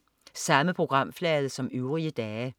Samme programflade som øvrige dage